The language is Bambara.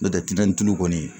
N'o tɛ tulu kɔni